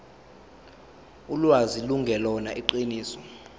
ulwazi lungelona iqiniso